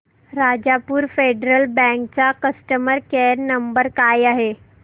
Rajapur federal bank चा customer care number काय आहे